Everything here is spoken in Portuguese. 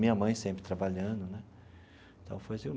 Minha mãe sempre trabalhando né então.